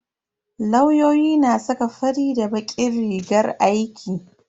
Lauyoyi na saka fari da bakin rigar aiki.